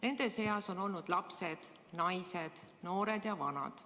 Nende seas on olnud lapsed, naised, noored ja vanad.